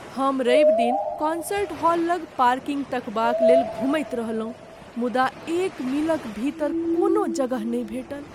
हम रवि दिन कॉन्सर्ट हॉल लग पार्किंग तकबालेल घुमैत रहलहुँ मुदा एक मीलक भीतर कोनो जगह नहि भेटल।